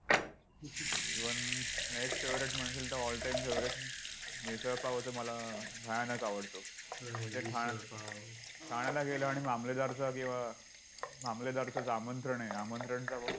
Even next favourite म्हणशील तर all time favourite misal pav तर मला भयानक आवडतो. म्हणजे ठाण्यात~ठाण्याला गेलो आणि मामलेदारचा किंवा मामलेदारचंच आमंत्रण आहे. आमंत्रणचा